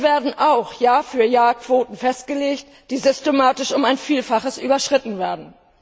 Hier werden auch Jahr für Jahr Quoten festgelegt, die systematisch um ein Vielfaches überschritten werden.